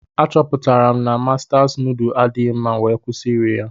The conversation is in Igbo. Achọpụtara m na Mastas indoomi adighi mma wee kwụsị iri ya.